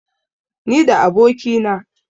ni da abokina